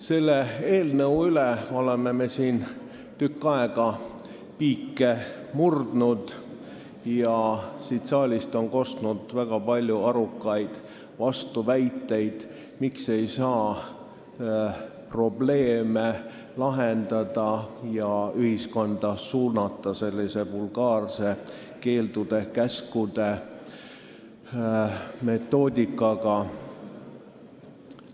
Selle eelnõu üle oleme me siin tükk aega piike murdnud ja siit saalist on kostnud väga palju arukaid vastuväiteid, miks ei saa probleeme lahendada ja ühiskonda suunata sellise vulgaarse keeldude ja käskude meetodiga.